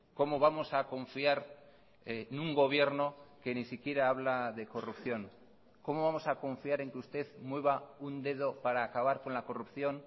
cómo vamos a confiar en un gobierno que ni siquiera habla de corrupción cómo vamos a confiar en que usted mueva un dedo para acabar con la corrupción